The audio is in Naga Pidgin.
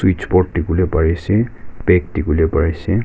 board diwole pari ase bag diwole pari ase.